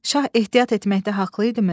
Şah ehtiyat etməkdə haqlı idimi?